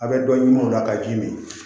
A' bɛ dɔ ɲuman o la ka ji min